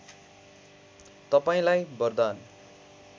तपाईँलाई वरदान